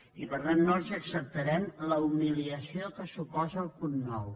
i per tant no els acceptarem la humiliació que suposa el punt nou